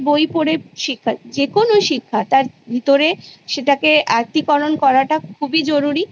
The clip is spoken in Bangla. বই পরে শিখা যেকোনো শিক্ষা তার ভিতরে সেটাকে আত্তীকরণ করাটা খুবই জরুরি